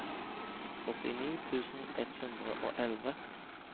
åttini tusen ett hundre og elleve